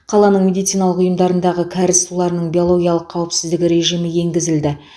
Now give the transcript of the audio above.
қаланың медициналық ұйымдарындағы кәріз суларының биологиялық қауіпсіздігі режимі енгізілді